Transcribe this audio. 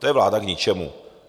To je vláda k ničemu.